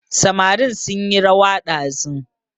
Samarin sunyi rawa ɗazu